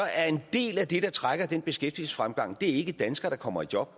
er en del af det der trækker den beskæftigelsesfremgang ikke danskere der kommer i job